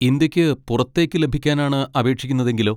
ഇന്ത്യക്ക് പുറത്തേക്ക് ലഭിക്കാനാണ് അപേക്ഷിക്കുന്നതെങ്കിലോ?